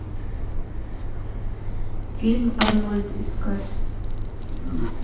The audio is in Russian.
фильм арнольд искать